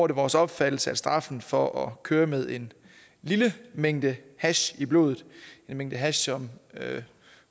det vores opfattelse at straffen for at køre med en lille mængde hash i blodet den mængde hash som